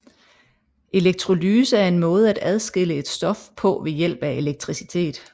Elektrolyse er en måde at adskille et stof på ved hjælp af elektricitet